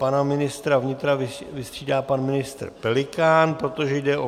Pana ministra vnitra vystřídá pana ministr Pelikán, protože jde o